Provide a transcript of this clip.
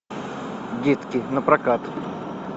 детки напрокат